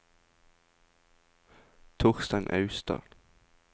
Torstein Austad